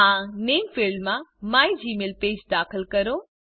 આ નામે ફિલ્ડમાં મિગમેલપેજ દાખલ કરો